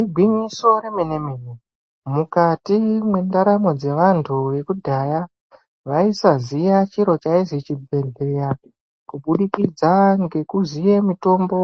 Igwinyiso remene-mene, mukati mwendaramo dzevantu vekudhaya, vaisaziya chiro chaizi chibhedhleya kubudikidza ngekuziye mitombo